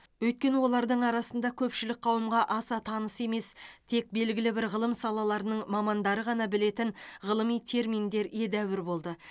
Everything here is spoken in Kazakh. өйткені олардың арасында көпшілік қауымға аса таныс емес тек белгілі бір ғылым салаларының мамандары ғана білетін ғылыми терминдер едәуір болды